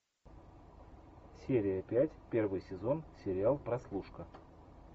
серия пять первый сезон сериал прослушка